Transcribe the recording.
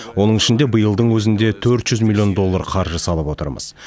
оның ішінде биылдың өзінде төрт жүз миллион доллар қаржы салып отырмыз